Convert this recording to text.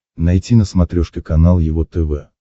найти на смотрешке канал его тв